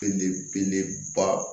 Ne be ne ba